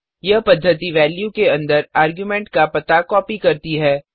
यह पद्धति वेल्यू के अंदर आर्गुमेंट का पता कॉपी करती है